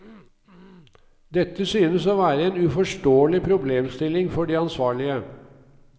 Dette synes å være en uforståelig problemstilling for de ansvarlige.